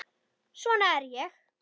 Svona er ég.